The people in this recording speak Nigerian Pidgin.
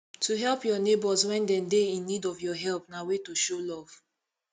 to help your neighbors when dem de in need of your help na way to show love